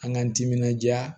An k'an timinanja